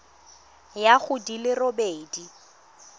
ya go di le robedi